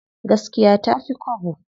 Gaskiya tafi kwabo.